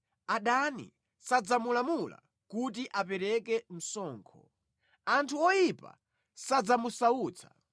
Adani sadzamulamula kuti apereke msonkho; anthu oyipa sadzamusautsa.